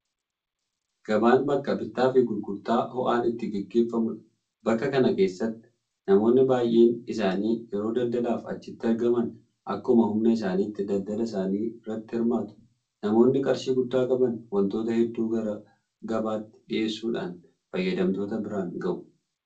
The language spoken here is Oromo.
Gabaan bakka bittaafi gurgurtaa ho'aan itti gaggeeffamudha. Bakka kana keessatti namoonni baay'een isaanii yeroo daldalaaf achitti argaman akkuma humna isaaniitti daldala isaanii irratti hirmaatu. Nammoonni qarshii guddaa qaban waantota hedduu gara gabaatti dhiyeessuudhaan fayyadamtoota biraan gahu.